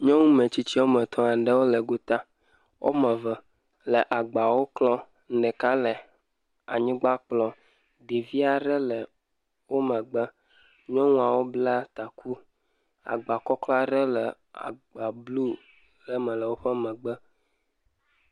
Nyɔnu metsitsi aɖewo le gota. Womame eve le agbawo klɔm. Ɖeka le anyigba kplɔm. Ɖevi aɖe le wo megbe. Nyɔnuawo bla taku. Agbakɔklɔ aɖe le ebluu ɖe me le woƒe megbe.